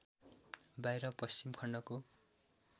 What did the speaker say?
बाहिर पश्चिमी खण्डको